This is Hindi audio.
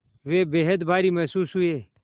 वे बेहद भारी महसूस हुए